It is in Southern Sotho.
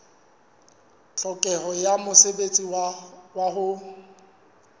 tlhokeho ya mosebetsi wa ho